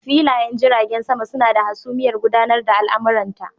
Filayen jiragen sama suna da hasumiyar gudanar da al'amuranta.